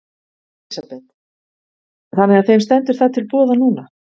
Elísabet: Þannig að þeim stendur það til boða núna?